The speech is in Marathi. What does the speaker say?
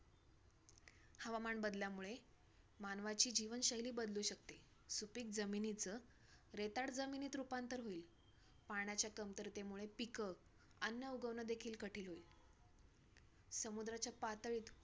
माशे खात होते तर आम्ही सगळी भिलो म्हणजे भीती वाटली. आम्हलां सगळ्यांना की बाबा हे काय आता आम्ही रडत बसलेलो एका कोपऱ्यात लहान होतो.